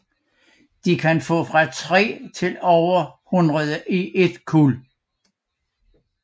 De kan få fra 3 til over hundrede i et kuld